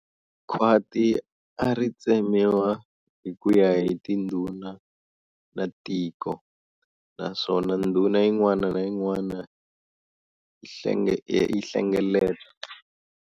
Khwati a ri tsemewa hi kuya hi tindhuna ta tiko, naswona ndhuna yin'wana na yin'wana yi hlengeleta